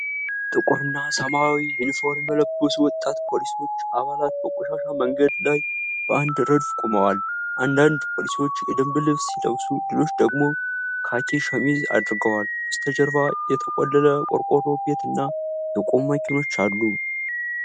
ጥቁርና ሰማያዊ ዩኒፎርም የለበሱ ወጣት የፖሊስ አባላት በቆሻሻ መንገድ ላይ በአንድ ረድፍ ቆመዋል። አንዳንድ ፖሊሶች የደንብ ልብስ ሲለብሱ ሌሎች ደግሞ ካኪ ሸሚዝ አድርገዋል። በስተጀርባ የተቆለለ ቆርቆሮ ቤትና የቆሙ መኪኖች አሉ።